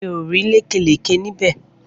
Mi ò rí lékè lékè níbè.